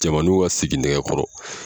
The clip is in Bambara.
Cɛmaninw ka siginɛgɛkɔrɔ